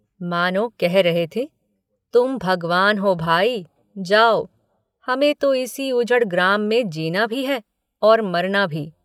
मानों कह रहे थे तुम भागवान हो भाई जाओ हमें तो इसी ऊजड़ ग्राम में जीना भी है और मरना भी।